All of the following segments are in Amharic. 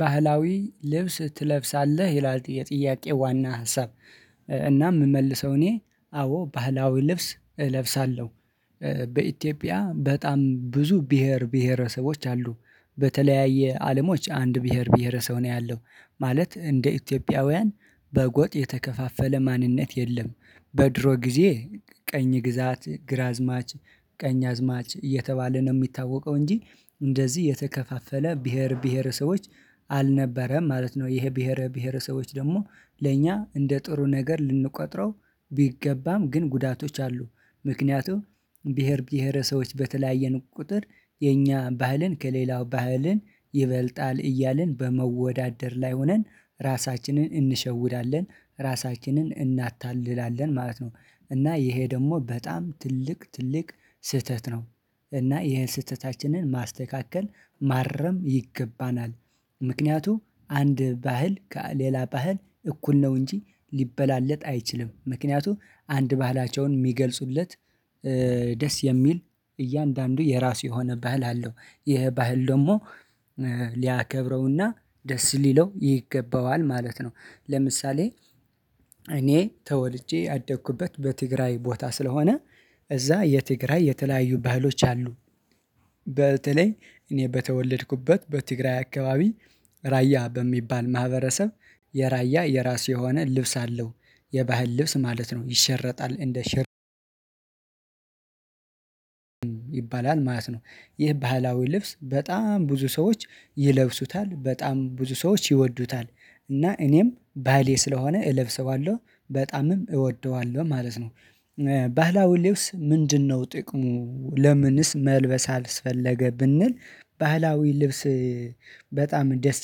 ባህላዊ ልብስ ትለብሳለህ ይላል የጥያቄ ዋና ሀሳብ? እና የምመልሰው እኔ አዎ ባህላዊ ልብስ እለብሳለሁ። በኢትዮጵያ በጣም ብዙ ብሄር ብሄረሰቦች አሉ። በተለያየ አለሞች አንድ ብሄር ብሄረሰብ ነው ያለው ማለት እንደ ኢትዮጵያውያን በጎጥ የተከፋፈለ ማንነት የለም። በድሮ ጊዜ ቀኝ ግዛት ግራዝማች ቀኝ አዝማች እየተባለ ነው የሚታወቀው እንጂ እንደዚህ የተከፋፈለ ብሄር ብሄርሰቦች አልነበረም። ማለት ነው ይሄ ብሄረ ብሄረሰቦች ደግሞ ለእኛ እንደ ጥሩ ነገር ልንቆጥረው ቢገባም ግን ጉዳቶች አሉ። ምክንያቱም ብሄር ብሄረሰቦች በተለያየን ቁጥር የኛ ባህልን ከሌላው ባህልን ይበልጣል እያልን በመወዳደር ላይ ሆነን ራሳችንን እንሸውዳለን ራሳችንን እናታልላለን ማለት ነው። እና ይሄ ደግሞ በጣም ትልቅ ትልቅ ስህተት ነው። እና ይሄን ስህተታችንን ማስተካከል ማረም ይገባናል። ምክንያቱም አንድ ባህል ከሌላ ባህል እኩል ነው እንጂ ሊበላለጥ አይችልም። ምክንያቱም አንድ ባህላቸውን የሚገልጹለት። ደስ የሚል እያንዳንዱ የራሱ የሆነ ባህል አለው ይሄ ባህል ደግሞ ሊያከብረውና ደስ ሊለው ይገባዋል ማለት ነው። ለምሳሌ እኔ ተወልጄ ያደግኩበት በትግራይ ቦታ ስለሆነ እዛ የትግራይ የተለያዩ ባህሎች አሉ። በተለይ እኔ በተወለድኩበት በትግራይ አካባቢ ራያ በሚባል ማህበረሰብ የራያ የራሱ የሆነ ልብስ አለው። የባህል ልብስ ማለት ነው ይሸረጣል እንደ ሽርጥ ይባላል ማለት ነው። ይህ ባህላዊ ልብስ በጣም ብዙ ሰዎች ይለብሱታል በጣም ብዙ ሰዎች ይወዱታል። እና እኔም ባህሌ ስለሆነ እለብሰዋለሁ በጣምም እወደዋለሁ ማለት ነው። ባህላዊ ልብስ ምንድነው ጥቅሙ ለምንስ መልበስ አስፈለገ ብንል ባህላዊ ልብስ? በጣም ደስ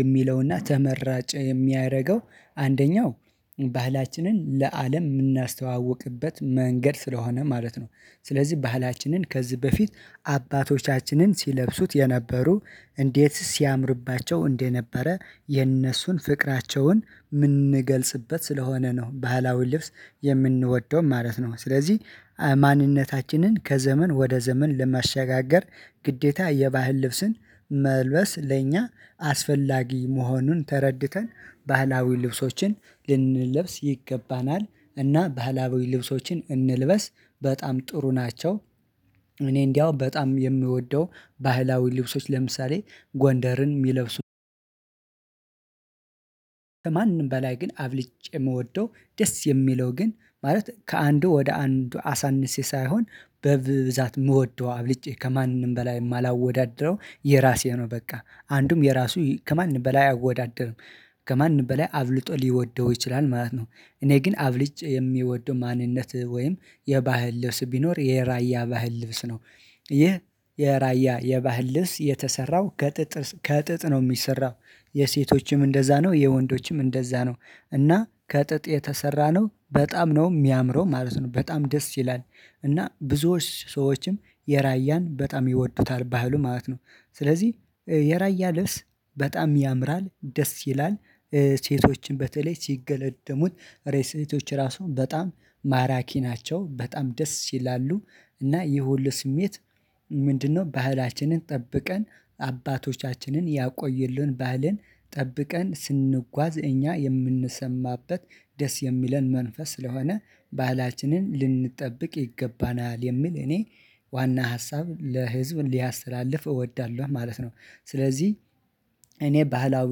የሚለውና ተመራጭ የሚያደርገው አንደኛው ባህላችንን ለአለም የምናስተዋውቅበት መንገድ ስለሆነ ማለት ነው። ስለዚህ ባህላችንን ከዚህ በፊት አባቶቻችንን ሲለብሱት የነበሩ እንዴት ሲያምርባቸው እንደነበረ የነሱን ፍቅራቸውን የምንገልጽበት ስለሆነ ነው ባህላዊ ልብስ የምንወደውም ማለት ነው። ስለዚህ ማንነታችንን ከዘመን ወደ ዘመን ለማሻጋገር ግዴታ የባህል ልብስን መልበስ ለእኛ አስፈላጊ መሆኑን ተረድተን ባህላዊ ልብሶችን ልንለብስ ይገባናል። እና ባህላዊ ልብሶችን እንልበስ በጣም ጥሩ ናቸው። እኔ እንደው በጣም የምወደው ባህላዊ ልብሶች ለምሳሌ ጎንደርን የሚለብሱ። አብልጬ የምወደው ደስ የሚለው ግን ማለት ከአንዱ ወደ አንዱ አሳንሼ ሳይሆን በብዛት የምወደው አብልጬ ከማንም በላይ የማላወዳድረው የራሴ ነው በቃ አንዱም የራሱ ከማንም በላይ አይወዳደርም። ከማን በላይ አብልጦ ሊወደው ይችላል ማለት ነው። እኔ ግን አብልጭ የሚወደው ማንነት ወይም የባህል ልብስ ቢኖር የራያ ባህል ልብስ ነው። ይህ የራያ የባህል ልብስ የተሰራው ከጥጥ ከጥጥ ነው የሚሰራው። የሴቶችም እንደዛ ነው የወንዶችም እንደዛ ነው። እና ከጥጥ የተሰራ ነው በጣም ነው የሚያምረው ማለት ነው በጣም ደስ ይላል። እና ብዙዎች ሰዎችም የራያን በጣም ይወዱታል ባህሉን ማለት ነው። ስለዚህ የራያ ልብስ በጣም ያምራል ደስ ይላል። ሴቶችን በተለይ ሲገለድሙት ሴቶች ራሱ በጣም ማራኪ ናቸው በጣም ደስ ይላሉ። እና ይሄ ሁሉ ስሜት ምንድነው? ባህላችንን ጠብቀን አባቶቻችንን ያቆዬልን ባህልን ጠብቀን ስንጓዝ እኛ የምንሰማበት ደስ የሚለን መንፈስ ስለሆነ ባህላችንን ልንጠብቅ ይገባናል የሚል እኔ ዋና ሀሳብ ለህዝብ ሊያስተላልፍ እወዳለሁ ማለት ነው። ስለዚህ እኔ ባህላዊ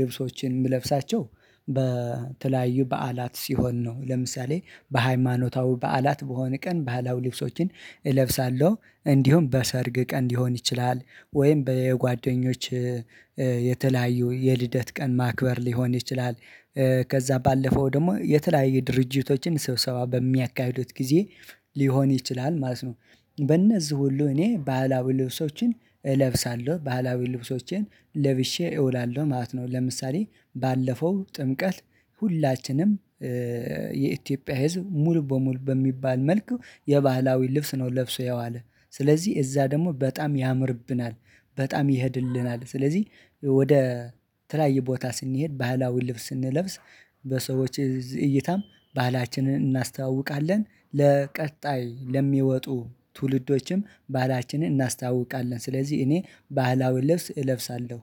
ልብሶችን የምለብሳቸው በተለያዩ በዓላት ሲሆን ነው። ለምሳሌ በሃይማኖታዊ በዓላት በሆነ ቀን ባህላው ልብሶችን እለብሳለሁ እንዲሁም በሰርግ ቀን ሊሆን ይችላል ወይም በጓደኞች የተለያዩ የልደት ቀን ማክበር ሊሆን ይችላል። ከዛ ባለፈው ደግሞ የተለያየ ድርጅቶችን ሰብሰባ በሚያካሂዱት ጊዜ ሊሆን ይችላል ማለት ነው። በእነዚህ ሁሉ እኔ ባህላዊ ልብሶችን እለብሳለሁ ባህላዊ ልብሶችን ለብሼ እውላለሁ ማለት ነው። ለምሳሌ ባለፈው ጥምቀት ሁላችንም የኢትዮጵያ ህዝብ ሙሉ በሙሉ በሚባል መልኩ የባህላዊ ልብስ ነው ለብሶ የዋለ ስለዚህ እዛ ደግሞ በጣም ያምርብናል። በጣም ይሄድልናል ስለዚህ ወደ ተለያየ ቦታ ስንሄድ ባህላዊ ልብስ ስንለብስ በሰዎች እዚህ እይታም ባህላችንን እናስተዋውቃለን ለቀጣይ ለሚወጡ ትውልዶችም ባህላችንን እናስታውቃለን። ስለዚህ እኔ ባህላዊ ልብስ እለብሳለሁ